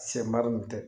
Sɛmɛriw tɛ